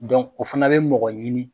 o fana bɛ mɔgɔ ɲini.